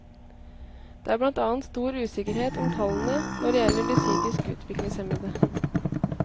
Det er blant annet stor usikkerhet om tallene når det gjelder de psykisk utviklingshemmede.